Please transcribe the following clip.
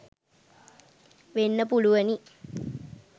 වෙන්න පුළුවනි